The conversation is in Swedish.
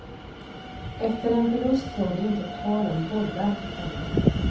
Efter en förlust var det inte tal om bollar på träningen.